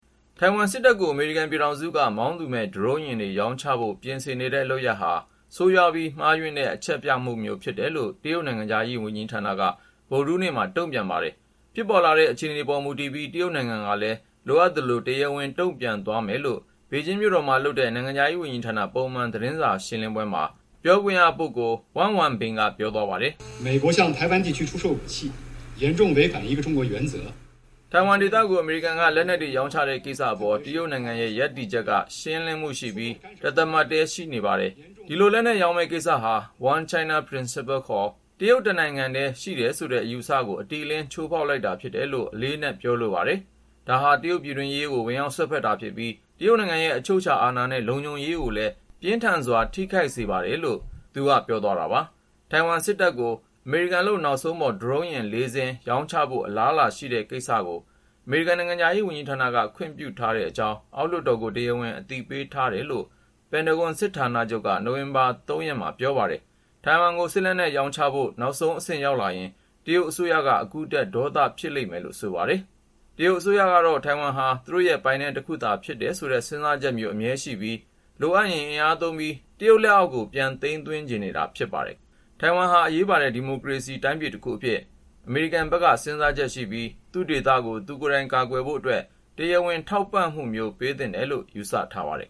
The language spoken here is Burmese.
ထိုင်ဝမ်စစ်တပ်ကို အမေရိကန် ပြည်ထောင်စုက မောင်းသူမဲ့ ဒရုန်းယာဉ်တွေ ရောင်းချဖို့ ပြင်ဆင်နေတဲ့ လုပ်ရပ်ဟာ ဆိုးရွားပြီး မှားယွင်းတဲ့ အချက်ပြမှုမျိုး ဖြစ်တယ်လို့ တရုတ်နိုင်ငံခြားရေး ဝန်ကြီးဌာနက ဗုဒ္ဓဟူးနေ့က တုန့်ပြန်လိုက် ပါတယ်။ ဖြစ်ပေါ်လာတဲ့ အခြေအနေပေါ်မူတည်ပြီး တရုတ်နိုင်ငံကလည်း လိုအပ်သလို တရားဝင် တုန့်ပြန်သ ွားမယ်လို့ ဘေဂျင်းမြို့တော်မှာ လုပ်တဲ့ နိုင်ငံခြားရေးဝန်ကြီးဌာန ပုံမှန် သတင်းစာရှင်းပွဲမှာ နိုင်ငံခြားရေးဌာန ပြောခွင့်ရ Wang Wenbin က ပြော သွားတာပါ။ "ထိုင်ဝမ်ဒေသကို အမေရိကန်က လက်နက်တွေ ရောင်းချတဲ့ ကိစ္စအပေါ် တရုတ်နိုင်ငံရဲ့ ရပ်တည်ချက်က ရှင်းလင်းမှုရှိပြီး တသမတ်တည်းရှိနေပါတယ်။ ဒီလို လက်နက်ရောင်းမယ့်ကိစ္စဟာ One China Principle ခေါ် တရုတ်တနိုင်ငံထဲ ရှိတယ်ဆိုတဲ့ အယူအဆကို အတိအလင်းချိုးဖေါက်လိုက်တာ ဖြစ်တယ်လို့ အလေးအနက် ပြောလိုပါတယ်။ ဒါဟာ တရုတ်ပြည်တွင်းရေး ဝင်ရောက်စွက်ဖက်ပြီး တရုတ်နိုင်ငံရဲ့ အချုပ်အခြာအာဏာနဲ့ လုံခြုံရေးကို ပြင်းထန်စ ွာ ထိခိုက်စေပါတယ်။".. လို့ Wang Wenbin က ပြောသွားတာပါ။ ထိုင်ဝမ်စစ်တပ်ကို အမေရိကန်လုပ် နောက်ဆုံးခေတ်ပေါ် ဒရုန်းယာဉ် ၄ စင်း - ရောင်းချဖို့ အလားအလာရှိတဲ့ ကိစ္စကို အမေရိကန်နိုင်ငံခြားရေးဌာနက ခွင့်ပြုထားတဲ့အကြောင်း အောက်လွှတ်တော်ကို တရားဝင် အသိပေးထားတယ်လို့ ပင်တဂွန်စစ်ဌာနချုပ်က နိုဝင်ဘာ ၃ ရက် အင်္ဂါနေ့က ပြောပါတယ်။ ထိုင်ဝမ်ကို စစ်လက်နက် ရောင်းချဖို့ နောက်ဆုံးအဆင့် ရောက်လာရင် တရုတ်အစိုးရက အခုထက် ဒေါသ ဖြစ်လိမ့်မယ်လို့ ဆိုပါတယ်။ တရုတ်အစိုးရကတော့ ထိုင်ဝမ်ဟာ သူတို့ရဲ့ပိုင်နက် တခုသာ ဖြစ်တယ်ဆိုတဲ့ စဉ်းစားချက်မျိုး အမြဲရှိပြီး လိုအပ်ရင် အင်အားသုံးပြီး တရုတ်လက်အောက်ကို ပြန်သိမ်းသွင်းချင်နေတာပါ။ ထိုင်ဝမ်ဟာ အရေးပါတဲ့ ဒီမိုကရေစီ တိုင်းပြည်တခုအဖြစ် အမေရိကန်ဘက်က စဉ်းစားချက်ရှိပြီး သူ့ဒေသကို သူကိုယ်တိုင် ကာကွယ်ရေးအတွက် တရားဝင် ထောက်ပံ့မှုမျိုး ပေးသင့်တယ်လို့ ယူဆထားပါတယ်